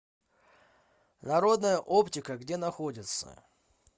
народная оптика где находится